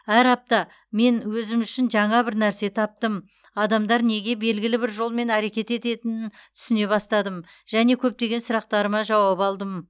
әр апта мен өзім үшін жаңа бір нәрсе таптым адамдар неге белгілі бір жолмен әрекет ететінін түсіне бастадым және көптеген сұрақтарына жауап алдым